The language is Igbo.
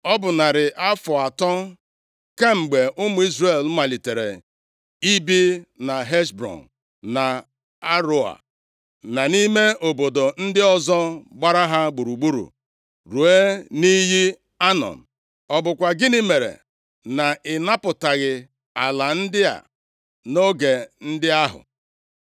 Ọ bụ narị afọ atọ kemgbe ụmụ Izrel malitere ibi na Heshbọn na Aroea, na nʼime obodo ndị ọzọ gbara ha gburugburu ruo nʼiyi Anọn. Ọ bụkwa gịnị mere na ịnapụtaghị ala ndị a nʼoge ndị ahụ?